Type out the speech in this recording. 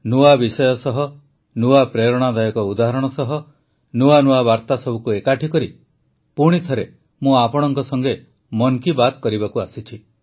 ନୂଆ ବିଷୟ ସହ ନୂଆ ପ୍ରେରଣାଦାୟକ ଉଦାହରଣ ସହ ନୂଆ ନୂଆ ସନ୍ଦେଶକୁ ଏକାଠି କରି ପୁଣିଥରେ ମୁଁ ଆପଣଙ୍କ ସଂଗେ ମନ୍ କୀ ବାତ୍ କରିବାକୁ ଆସିଛି